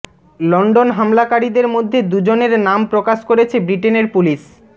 London হামলাকারীদের মধ্যে দুজনের নাম প্রকাশ করেছে ব্রিটেনের পুলিশ